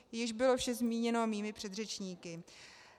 Již bylo vše zmíněno mými předřečníky.